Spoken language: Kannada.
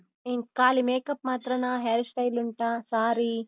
ಏನ್ ಕಾಲಿ makeup ಮಾತ್ರನಾ hair style ಉಂಟಾ? saree.